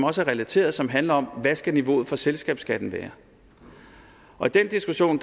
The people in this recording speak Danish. også er relateret som handler om hvad skal niveauet for selskabsskatten være og i den diskussion